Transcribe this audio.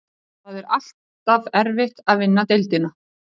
Hún er þó ekki eins einföld og virðast kann við fyrstu sýn.